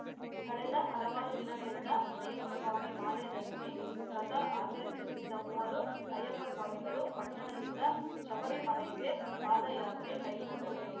ಕಳೆದ ಹಲವಾರು ದಿನಗಳಿಂದ ಅಯ್ಯಪ್ಪಸ್ವಾಮಿ ಮಾಲೆ ಧರಿಸಿ ವ್ರತ ಆಚರಿಸುತ್ತಿದ್ದ ಮೂವರು ಅಯ್ಯಪ್ಪಸ್ವಾಮಿಗಳು ಪಟ್ಟಣದಿಂದ ಶಬರಿಮಲೈಗೆ ಪಾದಯಾತ್ರೆ ಕೈಗೊಂಡರು